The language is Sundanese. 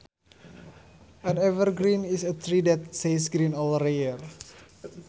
An evergreen is a tree that says green all year